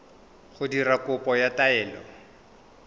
go dira kopo ya taelo